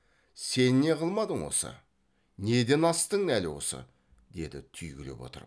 сен не қылмадың осы неден астың әлі осы деді түйгілеп отырып